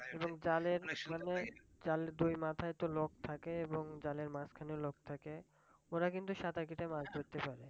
এবং জালের মানে জালের দুই মাথায় তো লোক থাকে এবং জালের মাঝখানেও লোক থাকে ওরা কিন্তু সাতার কেটে মাছ ধরতে পারে,